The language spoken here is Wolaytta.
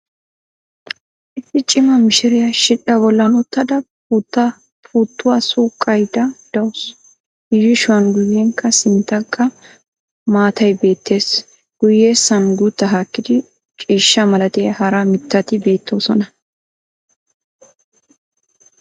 Issi cima mishshiriyaa shidhdhaa bollan uttada puuttuwaa suqqayda dawusu. i yuushshuwan guyenkka sinttankka maatay beettees. guyessan guutta haakkidu ciishsha malatiya hara mitatti beettoosona.